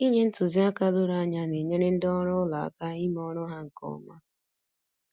Inye ntụziaka doro anya na-enyere ndị ọrụ ụlọ aka ime ọrụ ha nke ọma.